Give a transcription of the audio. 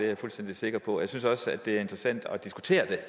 jeg fuldstændig sikker på at synes også det er interessant at diskutere det